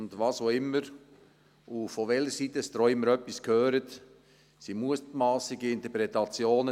Was auch immer und von welcher Seite auch immer Sie etwas hören, es sind Mutmassungen, Interpretationen.